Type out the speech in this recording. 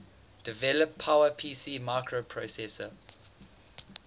develop powerpc microprocessor